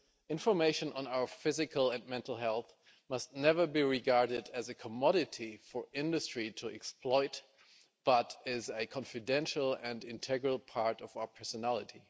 Information on our physical and mental health must never be regarded as a commodity for industry to exploit but is a confidential and integral part of our personality.